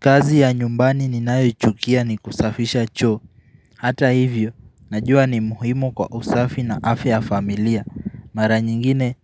Kazi ya nyumbani ninayo chukia ni kusafisha choo. Hata hivyo, najua ni muhimu kwa usafi na afya ya familia. Mara nyingine